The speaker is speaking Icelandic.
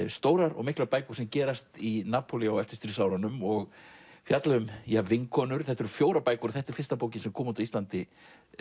stórar og miklar bækur sem gerast í Napolí á eftirstríðsárunum og fjalla um vinkonur þetta eru fjórar bækur og þetta er fyrsta bókin sem kom út á Íslandi